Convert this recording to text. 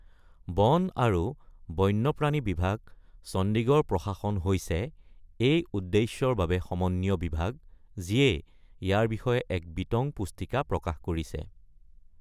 বন আৰু বন্যপ্ৰাণী বিভাগ, চণ্ডিগড় প্ৰশাসন, হৈছে এই উদ্দেশ্যৰ বাবে সমন্বীয় বিভাগ, যিয়ে ইয়াৰ বিষয়ে এক বিতং পুস্তিকা প্ৰকাশ কৰিছে।